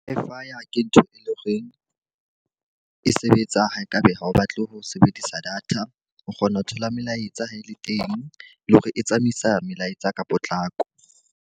Wi-Fi ke ntho e leng horeng e sebetsang haekabe ha o batle ho sebedisa data. O kgona ho thola melaetsa ha e le teng, le hore e tsamaisa melaetsa ka potlako.